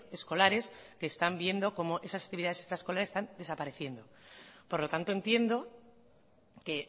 escolares que están viendo cómo esas actividades extraescolares están desapareciendo por lo tanto entiendo que